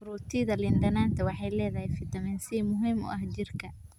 Fruitada liin dhanaanta waxay leedahay fitamiin C muhiim u ah jirka.